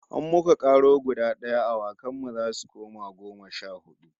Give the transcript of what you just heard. In muka karo guda d'aya, awakan mu zasu koma goma sha hudu